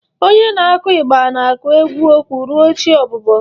Onye na-akụ igba na-akụ egwu okwu ruo chi ọbụbọ.